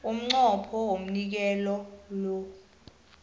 umnqopho womnikelo lo